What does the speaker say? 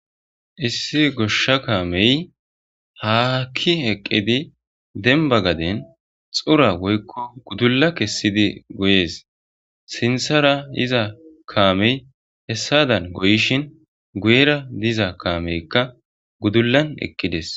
issi goshsha kaamey ha ke'i eqqidi denba gaden xura woykko gudulla kessidi goyees sinthara yiza kaamey hessadan goyishin guyera diza kaameykka gudullan eqqides